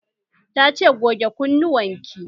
Ta ce 'Goge kunnuwan ki'!